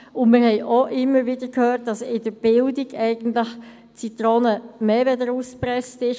Zudem haben wir immer wieder gehört, dass im Bildungsbereich die Zitrone mehr als ausgepresst ist;